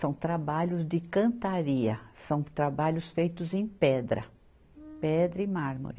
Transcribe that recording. São trabalhos de cantaria, são trabalhos feitos em pedra, pedra e mármore.